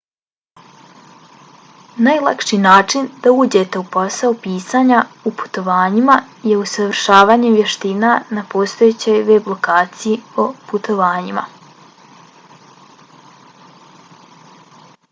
najlakši način da uđete u posao pisanja o putovanjima je usavršavanje vještina na postojećoj web lokaciji o putovanjima